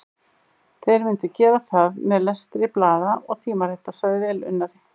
Þeir myndu gera það með lestri blaða og tímarita, sagði velunnari